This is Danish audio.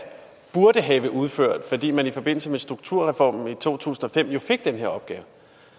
burde have udført fordi man i forbindelse med strukturreformen i to tusind og fem fik den her opgave